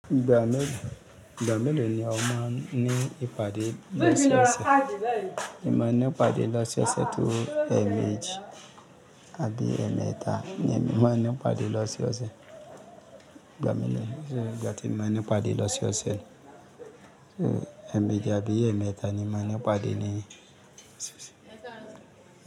Ìgbà méló, ìgbà méló ni ọ man ni ìpàdé lọ́ṣoosẹ̀? Mo máa ní ìpàdé lọ́ṣẹ̀ ọ̀sẹ̀ tó ẹ̀ẹ̀mejì àbí ẹ̀ẹ̀mẹ́ta ni èmi máa ní ìpàdé lọ́sẹ̀ ọ̀sẹ̀. Ìgbà mélòó ni ṣe ìgbà tí ìmáa ní ìpàdé lọ́sẹ̀ ọ̀sẹ̀? Ẹ̀ẹ̀mejì àbí ẹ̀ẹ̀mẹ́ta nì máa ní ìpàdé ní ọ̀sẹ̀ ọ̀sẹ̀.